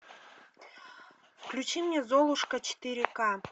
включи мне золушка четыре ка